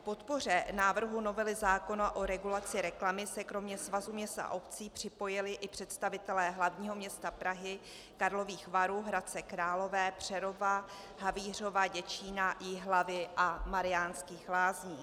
K podpoře návrhu novely zákona o regulaci reklamy se kromě Svazu měst a obcí připojili i představitelé hlavního města Prahy, Karlových Varů, Hradce Králové, Přerova, Havířova, Děčína, Jihlavy a Mariánských Lázní.